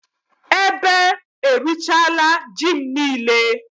Beetle has eaten all my yam